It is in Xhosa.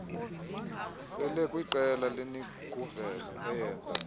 selekwiqela lerniguvela eyenza